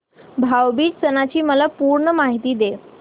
भाऊ बीज सणाची मला पूर्ण माहिती दे